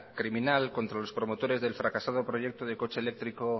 criminal contra los promotores del fracasado proyecto de coche eléctrico